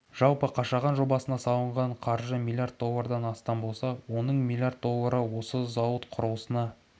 жалпы қашаған жобасына салынған қаржы млрд доллардан астам болса оның млрд доллары осы зауыт құрылысына